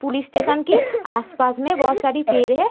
Police station के आस-पास में बहोत सारी पेड़ हैं।